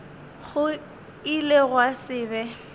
go ile gwa se be